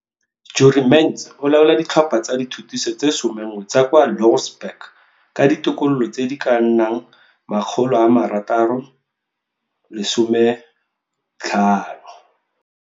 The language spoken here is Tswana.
Jurie Mentz o laola ditlhopha tsa dithutiso tse somenngwe tsa kwa Louwsburg ka ditokololo tse di ka nnang 650.